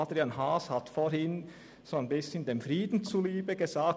Adrian Haas hat vorhin dem Frieden zuliebe gesagt: